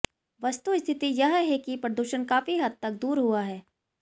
वस्तुस्थिति यह है कि प्रदूषण काफी हद तक दूर हुआ है